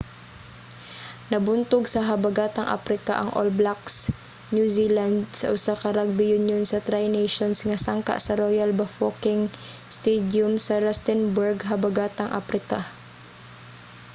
nabuntog sa habagatang aprika ang all blacks new zealand sa usa ka rrugby union sa tri nations nga sangka sa royal bafokeng stadium sa rustenburg habagatang aprika